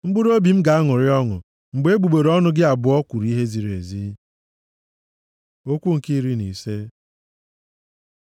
Mkpụrụobi m ga-aṅụrị ọṅụ mgbe egbugbere ọnụ gị abụọ kwuru ihe ziri ezi. Okwu nke iri na ise